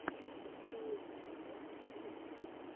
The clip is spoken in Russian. барселона тэвэ на ютубе